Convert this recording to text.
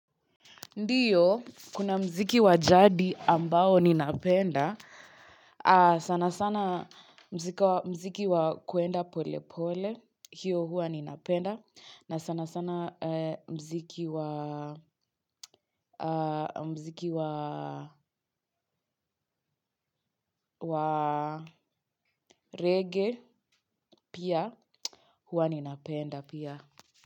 Ndio, kuna mziki wa jadi ambao ninapenda, sanasana mziki wa kuenda polepole, hiyo huwa ninapenda, na sanasana mziki wa reggae pia huwa ninapenda pia.